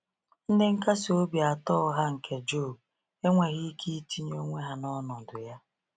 Ndị nkasi obi atọ ụgha nke Job enweghị ike itinye onwe ha n’ọnọdụ ya.